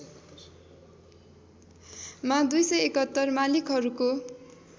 मा २७१ मालिकहरूको